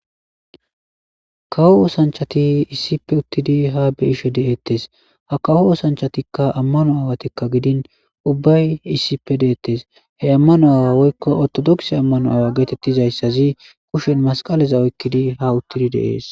Kawo ossanichati issippe utidi ha utidi beyishe dettesi ha kawo osanichatika amanno awati gidini ubbayi issipe detes he amano awa woyiko ortodokise awa getetidayisaz ba kusheni masiqaleza oyikid ha utti detesi